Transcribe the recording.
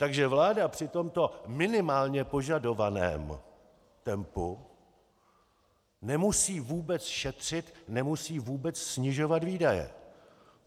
Takže vláda při tomto minimálně požadovaném tempu nemusí vůbec šetřit, nemusí vůbec snižovat výdaje.